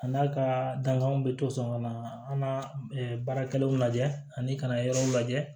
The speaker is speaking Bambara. A n'a ka dankanw bɛ to sɔn ka na an ka baarakɛlaw lajɛ ani ka na yɔrɔw lajɛ